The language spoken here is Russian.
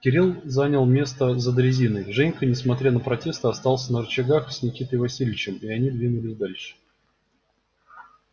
кирилл занял место за дрезиной женька несмотря на протесты остался на рычагах с никитой васильевичем и они двинулись дальше